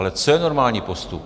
Ale co je normální postup?